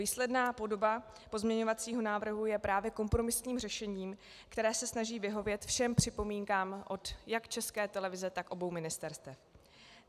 Výsledná podoba pozměňovacího návrhu je právě kompromisním řešením, které se snaží vyhovět všem připomínkám jak od České televize, tak obou ministerstev.